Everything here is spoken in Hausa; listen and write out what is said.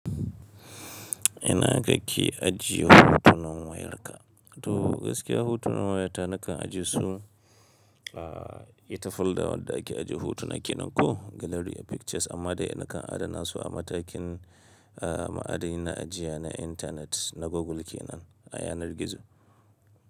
Ina kake ajiye hotunan wayarka? To gaskiya hotunan wayata nakan ajiye su a ita folder wadda ake ajiye hotuna kenan ko gallery a pictures amma dai nakan adana su a matakin a ma'adani na ajiya na internet na Google kenan a yanar gizo.